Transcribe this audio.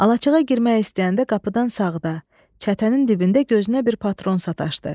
Alaçığa girmək istəyəndə qapıdan sağda, çətənin dibində gözünə bir patron sataşdı.